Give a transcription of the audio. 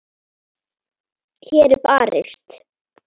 Hér er barist.